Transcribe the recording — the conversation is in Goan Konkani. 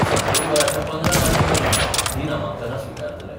सप्टेंबराच्या पंदरा तारखे मेरेन हीं नामांकना स्वीकारतले.